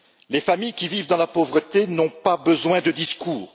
Les familles qui vivent dans la pauvreté n'ont pas besoin de discours.